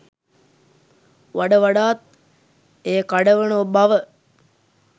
වඩ වඩාත් එය කඩවන බව